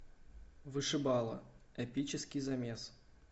вышибала эпический замес